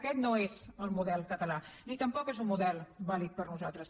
aquest no és el model català ni tampoc és un model vàlid per nosaltres